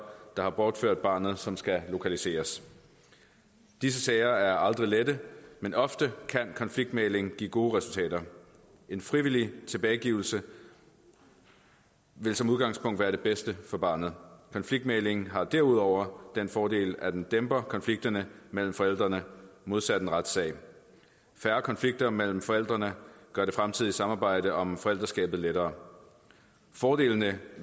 der har bortført barnet som skal lokaliseres disse sager er aldrig lette men ofte kan konfliktmægling give gode resultater en frivillig tilbagegivelse vil som udgangspunkt være det bedste for barnet konfliktmægling har derudover den fordel at den dæmper konflikterne mellem forældrene modsat en retssag færre konflikter mellem forældrene gør det fremtidige samarbejde om forældreskabet lettere fordelene